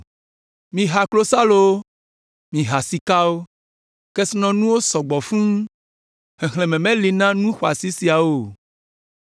Miha klosalowo! Mìha sika! Kesinɔnuwo sɔ gbɔ fũu, xexlẽme meli na nu xɔasi siawo o.